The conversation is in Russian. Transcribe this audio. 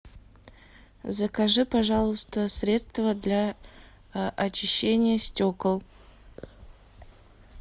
закажи пожалуйста средство для очищения стекол